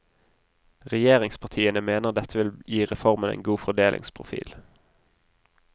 Regjeringspartiene mener dette vil gi reformen en god fordelingsprofil.